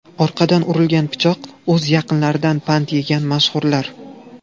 Orqadan urilgan pichoq: o‘z yaqinlaridan pand yegan mashhurlar.